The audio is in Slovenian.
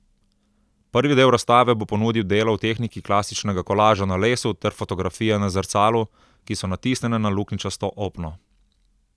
Prvi del razstave bo ponudil dela v tehniki klasičnega kolaža na lesu ter fotografije na zrcalu, ki so natisnjene na luknjičasto opno.